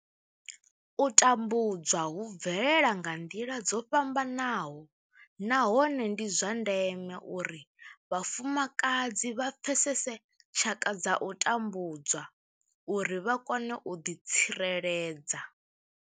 U tambudzwa hu bvelela nga nḓila dzo fhambanaho nahone ndi zwa ndeme uri vhafumakadzi vha pfesese tshaka dza u tambudzwa uri vha kone u ḓitsireledza.